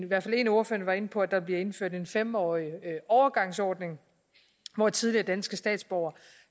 hvert fald en af ordførerne var inde på at der bliver indført en fem årig overgangsordning hvor tidligere danske statsborgere